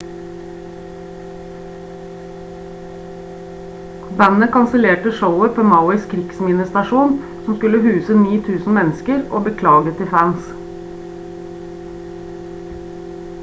bandet kansellerte showet på mauis krigsminnestadion som skulle huse 9.000 mennesker og beklaget til fans